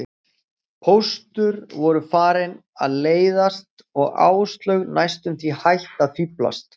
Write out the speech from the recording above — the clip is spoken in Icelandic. Póstur voru farin að leiðast og Áslaug næstum því hætt að fíflast.